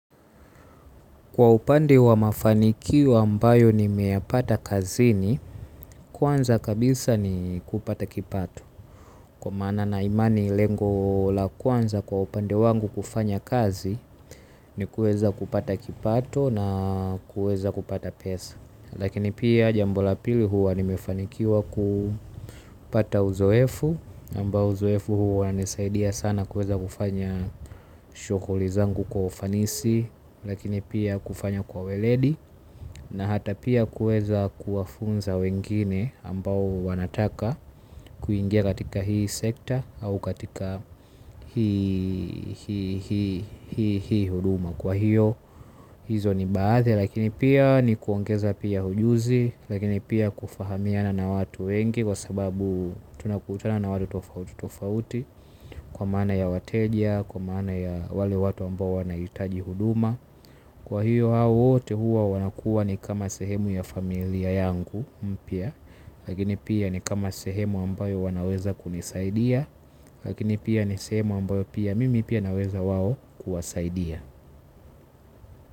Kwa upande wa mafanikio ambayo nimeyapata kazini kwanza kabisa ni kupata kipato. Kwa maana na imani lengo la kwanza kwa upande wangu kufanya kazi ni kuweza kupata kipato na kueza kupata pesa. Lakini pia jambo la pili huwa nimefanikiwa kupata uzoefu ambao uzoefu huo unanisaidia sana kueza kufanya shughuli zangu kwa ufanisi. Lakini pia kufanya kwa weledi na hata pia kueza kuwafunza wengine ambao wanataka kuingia katika hii sekta au katika hii huduma kwa hiyo hizo ni baadhi lakini pia ni kuongeza pia ujuzi. Lakini pia kufahamiana na watu wengi kwa sababu tunakutana na watu tofauti tofauti kwa maana ya wateja kwa maana ya wale watu ambao wanahitaji huduma. Kwa hiyo hao wote huwa wanakuwa ni kama sehemu ya familia yangu mpya. Lakini pia ni kama sehemu ambayo wanaweza kunisaidia. Lakini pia ni sehemu ambayo pia mimi pia naweza wao kuwasaidia.